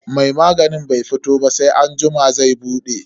Mai maganin bai fito ba sai anjima zai bude.